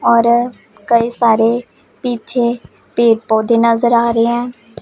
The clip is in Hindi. और कई सारे पीछे पेड़ पौधे नजर आ री हैं।